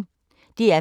DR P1